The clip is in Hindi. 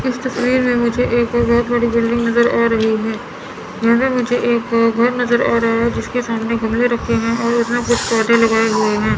इस तस्वीर में मुझे एक बहोत बड़ी बिल्डिंग नजर आ रही है घर नजर आ रहा है जिसके सामने गमले रखे हैं और है।